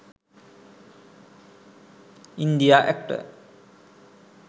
india actor